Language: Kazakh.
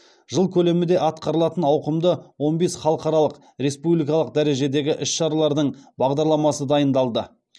жыл көлемінде атқарылатын ауқымды он бес халықаралық республикалық дәрежедегі іс шаралардың бағдарламасы дайындалды